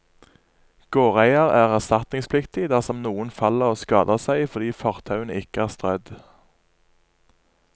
Gårdeier er erstatningspliktig dersom noen faller og skader seg fordi fortauene ikke er strødd.